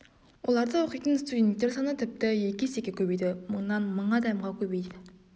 оларда оқитын студенттер саны тіпті екі есеге көбейді мыңнан мың адамға көбейді